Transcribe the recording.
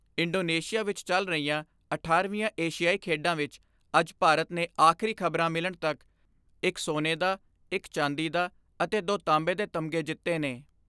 Indonesia ਵਿਚ ਚਲ ਰਹੀਆਂ ਅਠਾਰਾਂ ਵੀਆਂ ਏਸ਼ੀਆਈ ਖੇਡਾਂ ਵਿਚ ਅੱਜ ਭਾਰਤ ਨੇ ਆਖਰੀ ਖਬਰਾਂ ਮਿਲਣ ਤੱਕ ਇਕ ਸੋਨੇ ਦਾ, ਇਕ ਚਾਂਦੀ ਦਾ ਅਤੇ ਦੋ ਤਾਂਬੇ ਦੇ ਤਮਗੇ ਜਿੱਤੇ ਨੇ।